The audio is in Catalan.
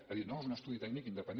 ha dit no és un estudi tècnic independent